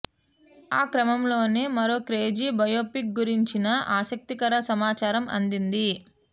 ఆ క్రమంలోనే మరో క్రేజీ బయోపిక్ గురించిన ఆసక్తికర సమాచారం అందింది